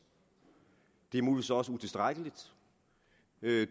det er muligvis også utilstrækkeligt